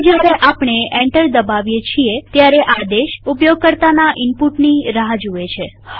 હવે જયારે આપણે એન્ટર દબાવીએ છીએ ત્યારે આદેશ ઉપયોગકર્તાના ઈનપુટની રાહ જુએ છે